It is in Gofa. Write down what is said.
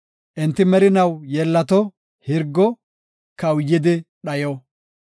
Enti merinaw yeellato; hirgo; kawuyidi dhayo.